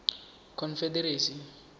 confederacy